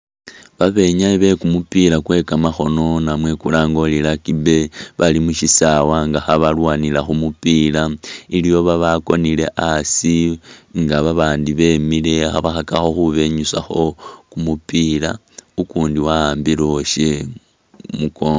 Babinyayi be kumupila kwe kamakhono namwe kulange uri Rugby bali mu syisawa nga khabalwanila kumupila iliwo babakonile asi nga babandi bemile khabakhakakho khubenyusakho kumupila, ukundi wa'ambile uwasye khu mukoongo.